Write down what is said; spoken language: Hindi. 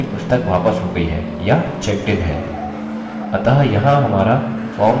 जिसका मतलब है कि पुस्तक वापस हो गयी है या checked इन है